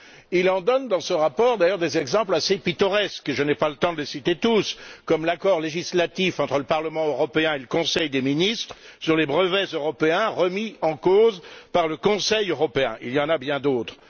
Il en donne dans son rapport, d'ailleurs, des exemples assez pittoresques je n'ai pas le temps de les citer tous comme l'accord législatif entre le Parlement européen et le Conseil des ministres sur les brevets européens remis en cause par le Conseil européen. Il y en a bien d'autres.